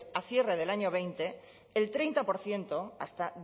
a cierre del año veinte el treinta por ciento hasta